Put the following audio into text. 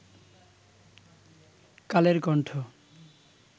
কালের কন্ঠ